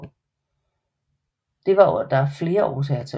Det var der flere årsager til